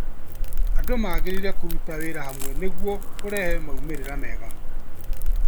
Andũ magĩrĩirwo kũruta wĩra hamwe nĩguo kũrehe maumĩrĩra mega.